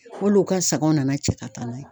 K'olu ka sagaw nana cɛ ka taa n'a ye.